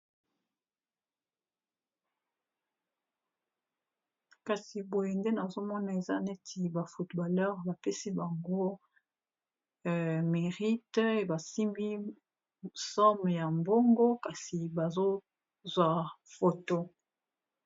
kasi boye nde nazomona eza neti ba footballer bapesi bango mirite ebasimbi som ya mbongo kasi bazozwa foto